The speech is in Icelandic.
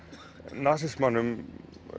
nasismanum